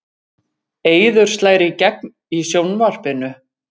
Eiður slær í gegn í sjónvarpinu